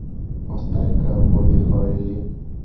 поставь ка бобби фаррелли